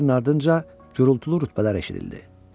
Bir-birinin ardınca gurultulu rütbələr eşidildi.